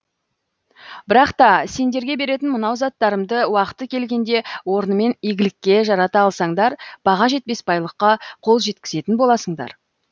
бірақ та сендерге беретін мынау заттарымды уақыты келгенде орнымен игілікке жарата алсаңдар баға жетпес байлыққа қол жеткізетін боласыңдар